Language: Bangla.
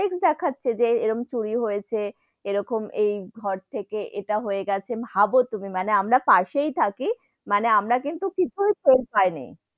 Complex দেখাচ্ছে যে এরকম চুরি হয়েছে, এরকম এই ঘর থেকে ইটা হয়ে গেছে, ভাবো তুমি মানে আমরা পাশেই থাকি মানে আমরা কিন্তু কিছুই টের পাই নি,